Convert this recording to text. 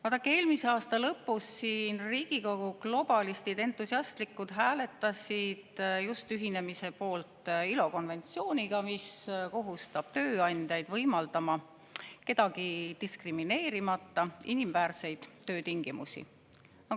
Vaadake, eelmise aasta lõpus hääletasid Riigikogu globalistid siin entusiastlikult just ühinemise poolt ILO konventsiooniga, mis kohustab tööandjaid võimaldama kedagi diskrimineerimata inimväärseid töötingimusi.